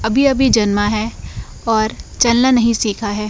अभी अभी जन्मा है और चलना नहीं सीखा है।